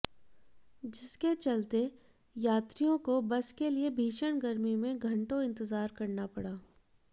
जिसके चलते यात्रियों को बस के लिए भीषण गर्मी में घटों इंतजार करना पड़ा